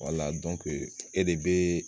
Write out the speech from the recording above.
e de bee